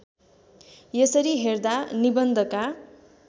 यसरी हेर्दा निबन्धका